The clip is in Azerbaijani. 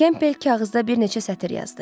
Kempbel kağızda bir neçə sətr yazdı.